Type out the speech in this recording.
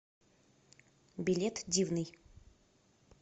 билет дивный